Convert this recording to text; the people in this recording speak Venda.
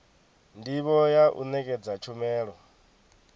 ndivho ya u nekedza tshumelo